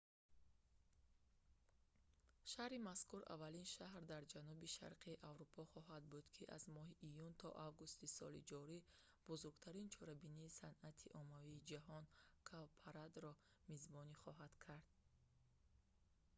шаҳри мазкур аввалин шаҳр дар ҷанубу шарқи аврупо хоҳад буд ки аз моҳи июн то августи соли ҷорӣ бузургтарин чорабинии санъати оммавии ҷаҳон – «cowparade"‑ро мизбонӣ хоҳад кард